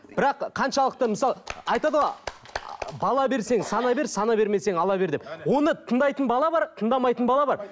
бірақ қаншалықты мысалы айтады ғой ы бала берсең сана бер сана бермесең ала бер деп оны тыңдайтын бала бар тыңдамайтын бала бар